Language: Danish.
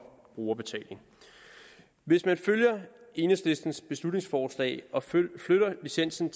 brugerbetaling hvis man følger enhedslistens beslutningsforslag og flytter licensen